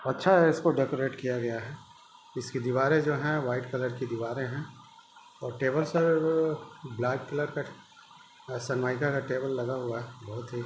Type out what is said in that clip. अच्छा है इसको डेकोरेट किया गया है इसकी दिवारे जो है व्हाइट कलर की दिवारे है और टेबल शायद ब्लैक कलर का सनमाईका का टेबल लगा हुआ है बहुत ही--